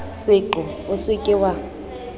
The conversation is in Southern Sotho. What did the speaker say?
seqo o se ke wa